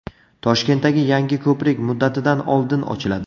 Toshkentdagi yangi ko‘prik muddatidan oldin ochiladi.